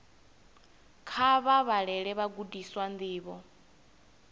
kha vha vhalele vhagudiswa ndivho